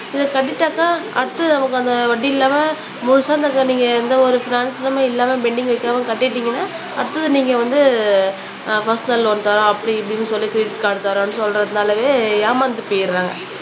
இதை கட்டிட்டாக்கா அடுத்து நமக்கு அந்த வட்டி இல்லாம முழுசா அந்த நீங்க எந்த ஒரு இல்லாம பெண்டிங் வைக்காம கட்டிட்டீங்கன்னா அடுத்தது நீங்க வந்து ஆஹ் பர்சனல் லோன் தர்றோம் அப்படி இப்படின்னு சொல்லி கிரெடிட் கார்டு தர்றோம்ன்னு சொல்றதுனாலவே ஏமாந்து போயிடறாங்க